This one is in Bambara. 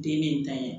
Den ne ta ye